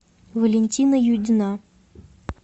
валентина юдина